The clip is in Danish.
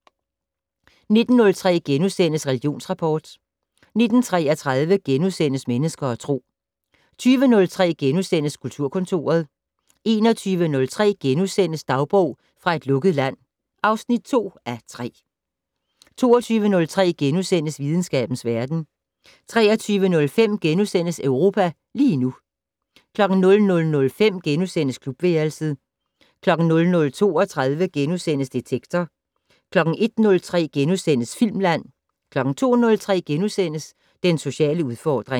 19:03: Religionsrapport * 19:33: Mennesker og Tro * 20:03: Kulturkontoret * 21:03: Dagbog fra et lukket land (2:3)* 22:03: Videnskabens verden * 23:05: Europa lige nu * 00:05: Klubværelset * 00:32: Detektor * 01:03: Filmland * 02:03: Den sociale udfordring *